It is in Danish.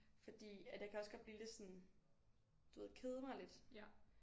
Fordi at jeg kan også godt blive lidt sådan du ved kede mig lidt